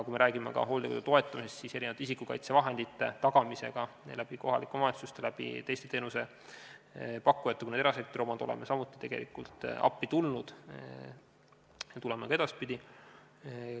Kui me räägime hooldekodude toetamisest, siis isikukaitsevahendite tagamisega ning läbi kohalike omavalitsuste ja teiste teenusepakkujate, sh erasektorite, oleme samuti appi tulnud ja tuleme ka edaspidi.